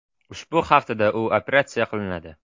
Ushbu haftada u operatsiya qilinadi.